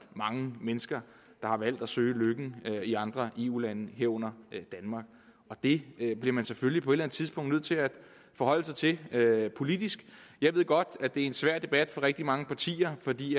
mange mennesker der har valgt at søge lykken i andre eu lande herunder danmark og det bliver man selvfølgelig på et eller andet tidspunkt nødt til at forholde sig til politisk jeg ved godt at det er en svær debat for rigtig mange partier fordi